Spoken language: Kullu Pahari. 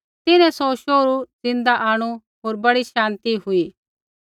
तिन्हैं सौ शोहरू ज़िन्दा आंणु होर बड़ी शान्ति हुई